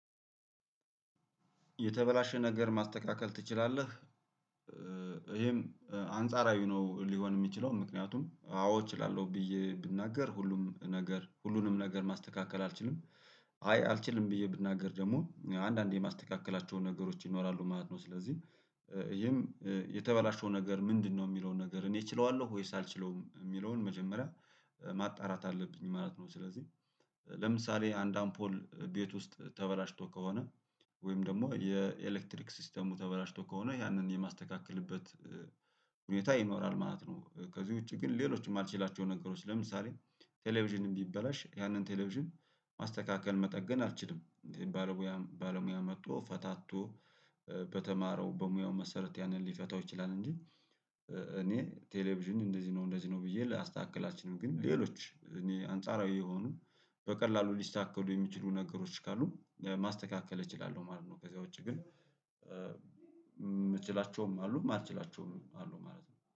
የተበላሸ ነገር ማስተካከል ትችላለህ? ይሄም አንጻራዊ ነው ሊሆን የሚችለው ምክንያቱም አዎ እችላለሁ ብዬ ብናገር ሁሉም ነገር ሁሉንም ነገር ማስተካከል አልችልም። አይ አልችልም ብዬ ብናገር ደግሞ አንዳንዴ የማስተካከላቸውን ነገሮች ይኖራሉ ማለት ነው። ስለዚህ ይሄም የተበላሸው ነገር ምንድነው የሚለውን ነገር እኔ እችለዋለሁ ወይስ አልችለውም የሚለውን መጀመሪያ ማጣራት አለብኝ ማለት ነው። ስለዚህ ለምሳሌ አንድ አምፖል ቤት ውስጥ ተበላሽቶ ከሆነ ወይም ደግሞ የኤሌክትሪክ ሲስተሙ ተበላሽቶ ከሆነ ያንን የማስተካከልበት ሁኔታ ይኖራል ማለት ነው። ከዚህ ውጪ ግን ሌሎችም የማልችላቸው ነገሮች ለምሳሌ ቴሌቪዥን ብበላሽ ያንን ቴሌቪዥን ማስተካከል መጠገን አልችልም። ባለሙያ ባለሙያ መጥቶ ፈታቶ በተማረው በሙያው መሰረት ያንን ሊፈታው ይችላል እንጂ። እኔ ቴሌቪዥን እንደዚህ ነው እንደዚህ ነው ብዬ ላስተካከል አልችልም። ግን ሌሎች እኔ አንጻራዊ የሆኑ በቀላሉ ሊተካሉ የሚችሉ ነገሮች ካሉ ማስተካከል እችላለሁ ማለት ነው። ከዚያ ውጪ ግን የምችላቸውም አሉም ማልትችላቸውም አሉም ማለት ነው